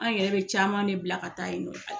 An yɛrɛ be caman ne bila ka taa yen nɔ